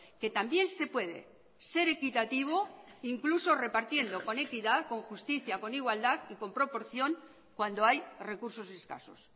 que también se puede ser equitativo incluso repartiendo con equidad con justicia con igualdad y con proporción cuando hay recursos escasos